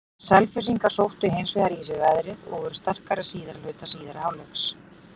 Selfyssingar sóttu hins vegar í sig veðrið og voru sterkari síðari hluta síðari hálfleiks.